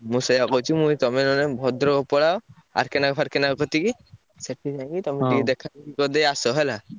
ମୁଁ ସେୟା କହୁଛି ମୁଁ କହିଲି ତମେ ନହେଲେ ଭଦ୍ରକ ପଳାଅ R. K ନାୟକ ଫାର୍କେ ନାୟକ କତିକି ସେଟୁ ତମେ ଟିକେ ଦେଖା କରିଦେଇ ଆସ ହେଲା।